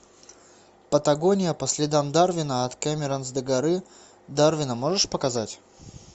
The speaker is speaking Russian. патагония по следам дарвина от камаронес до горы дарвина можешь показать